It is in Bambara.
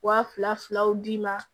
Wa fila filaw d'i ma